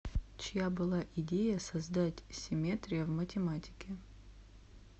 чья была идея создать симметрия в математике